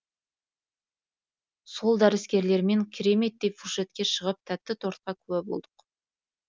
сол дәріскерлермен кереметтей фуршетке шығып тәтті тортқа куә болдық